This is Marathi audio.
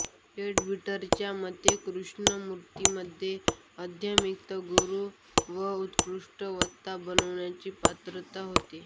लेडबीटरच्या मते कृष्णमूर्तींमध्ये आध्यात्मिक गुरू व उत्कृष्ट वक्ता बनण्याची पात्रता होती